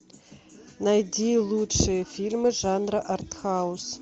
найди лучшие фильмы жанра арт хаус